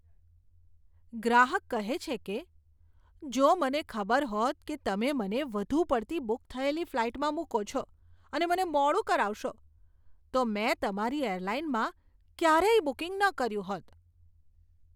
ગ્રાહક કહે છે કે, જો મને ખબર હોત કે તમે મને વધુ પડતી બુક થયેલી ફ્લાઇટમાં મૂકો છો અને મને મોડું કરાવશો, તો મેં તમારી એરલાઇનમાં ક્યારેય બુકિંગ ન કર્યું હોત.